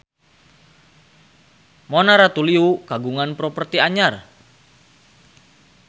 Mona Ratuliu kagungan properti anyar